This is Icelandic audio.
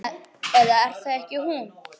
Eða er það ekki hún?